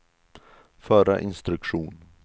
förra instruktion